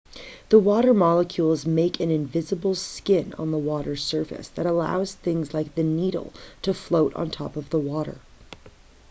the water molecules make an invisible skin on the water's surface that allows things like the needle to float on top of the water